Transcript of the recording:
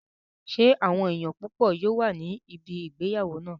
Ṣé àwọn èèyàn púpọ̀ yóò wà ní ibi ìgbéyàwó náà?